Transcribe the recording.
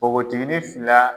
Npogotigiinin fila